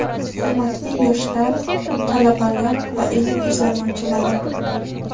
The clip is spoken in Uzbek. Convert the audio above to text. Hurmatli yoshlar, talabalar va ilm izlanuvchilari!.